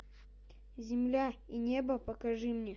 земля и небо покажи мне